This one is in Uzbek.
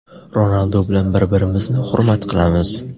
Ronaldu bilan bir-birimizni hurmat qilamiz.